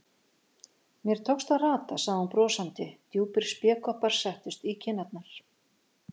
Mér tókst að rata, sagði hún brosandi, djúpir spékoppar settust í kinnarnar.